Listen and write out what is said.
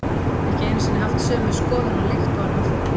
Geti ekki einu sinni haft sömu skoðun á lykt og annað fólk.